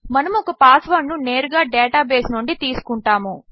మనముఒకపాస్వర్డ్నునేరుగాడేటాబేస్నుండితీసుకుంటాము